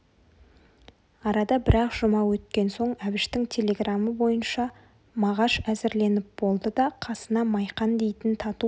арада бір-ақ жұма өткен соң әбіштің телеграмы бойынша мағаш әзірленіп болды да қасына майқан дейтін тату